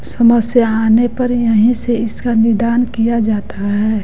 समस्या आने पर यहीं से इसका निदान किया जाता है।